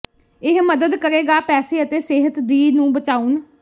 ਇਹ ਮਦਦ ਕਰੇਗਾ ਪੈਸੇ ਅਤੇ ਸਿਹਤ ਦੀ ਨੂੰ ਬਚਾਉਣ